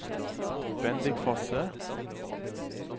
Bendik Fosse